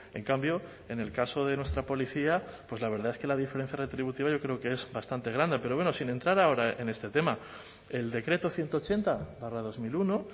en cambio en el caso de nuestra policía pues la verdad es que la diferencia retributiva yo creo que es bastante grande pero bueno sin entrar ahora en este tema el decreto ciento ochenta barra dos mil uno